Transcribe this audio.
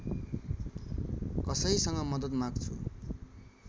कसैसँग मद्दत माग्छु